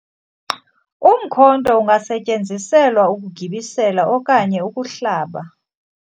umkhonto ungasetyenziselwa ukugibisela okanye ukuhlaba